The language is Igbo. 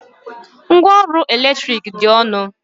Ngwa ọrụ eletrik dị ọnụ.